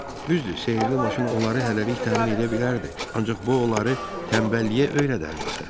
Düzdür, sehrli maşın onları hələlik təmin edə bilərdi, ancaq bu onları tənbəlliyə öyrədərdi axı.